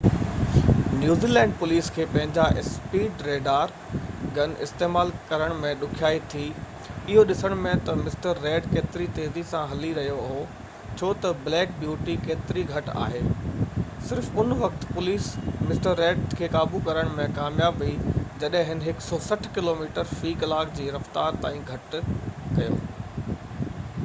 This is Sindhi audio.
نيوزي لينڊ پوليس کي پنهنجا اسپيڊ ريڊار گن استعمال ڪرڻ ۾ ڏکيائي ٿي اهو ڏسڻ ۾ تہ مسٽر ريڊ ڪيتري تيزي سان هلي رهيو هو ڇو تہ بليڪ بيوٽي ڪيتري گهٽ آهي صرف ان وقت پوليس مسٽر ريڊ کي قابو ڪرڻ ۾ ڪامياب ويئي جڏهن هن 160 ڪلوميٽر في ڪلاڪ جي رفتار تائين گهٽ ڪيو